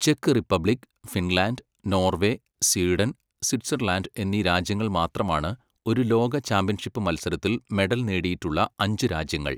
Check Republic, Finland, Norway, Sweden, Switzerland എന്നീ രാജ്യങ്ങൾ മാത്രമാണ് ഒരു ലോക ചാമ്പ്യൻഷിപ്പ് മത്സരത്തിൽ മെഡൽ നേടിയിട്ടുള്ള അഞ്ച് രാജ്യങ്ങൾ.